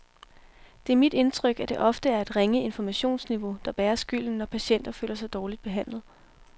Det er mit indtryk, at det ofte er et ringe informationsniveau, der bærer skylden, når patienter føler sig dårligt behandlet.